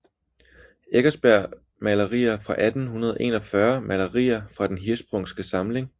Eckersberg Malerier fra 1841 Malerier fra Den Hirschsprungske Samling